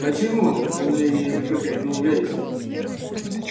почему в изумлении выкрикнул вересов